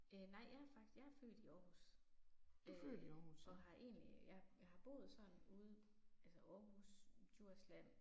Øh nej, jeg er jeg er født i Aarhus. Øh og har egentlig jeg jeg har boet sådan ude, altså Aarhus, Djursland